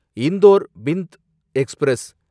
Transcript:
Indore Bhind express